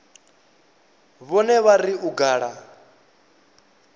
vhone vha ri u gala